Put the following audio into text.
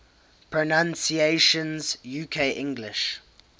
pronunciations uk english